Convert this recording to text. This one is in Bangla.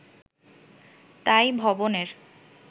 তাই 'ভবন'-এর